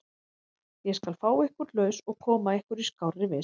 Ég skal fá ykkur laus og koma ykkur í skárri vist.